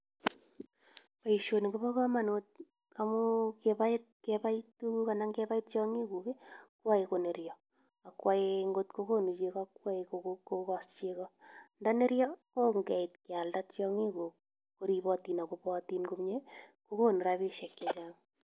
Boisioni ko bo komonut amun kebai tiong'ik guk koyoe koeryo. Ago ngot ko kogonu chego koyoe kogos chego. Ndo neryo kongeit kealda chego komi koneryotin ak kobootin komye kogonu rabisek che chang.